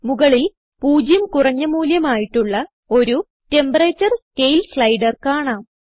മുകളിൽ പൂജ്യം കുറഞ്ഞ മൂല്യം ആയിട്ടുള്ള ഒരു Temperature സ്കേൽ സ്ലൈടർ കാണാം